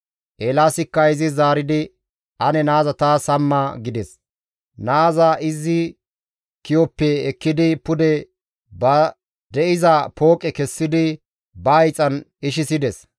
Eelaasikka izis zaaridi, «Ane naaza taas hamma» gides. Naaza izi ki7oppe ekkidi pude ba de7iza pooqe kessidi ba hiixan ishisides.